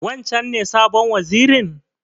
Wancen ne sabon wazirin?